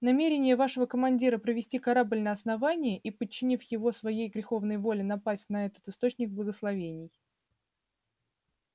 намерение вашего командира провести корабль на основание и подчинив его своей греховной воле напасть на этот источник благословений